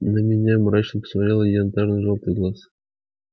на меня мрачно посмотрел янтарно-желтый глаз